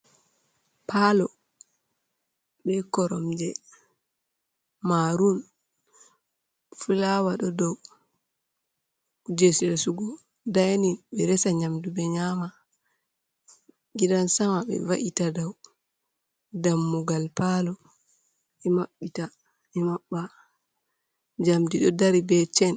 Parlo be koromje marun, flower ɗo dou kuje resugo, dining ɓe resa nyamdu ɓe nyama. gidan-sama ɓe va’ita dou. Dammugal parlo ɓe maɓɓita ɓe maɓɓa. Njamdi ɗo dari be chain.